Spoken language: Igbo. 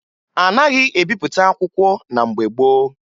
A naghị ebipụta akwụkwọ na mgbe gboo